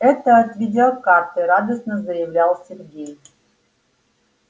это от видеокарты радостно заявлял сергей